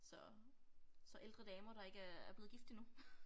Så så ældre damer der ikke er blevet gift endnu